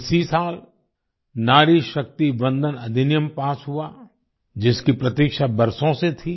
इसी साल नारी शक्ति वंदन अधिनियम पास हुआ जिसकी प्रतीक्षा बरसों से थी